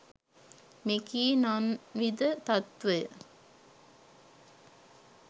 මෙකී නන්විධ තත්ත්වය